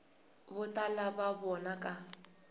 vo tala va vona va